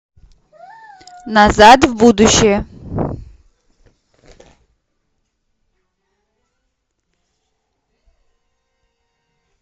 назад в будущее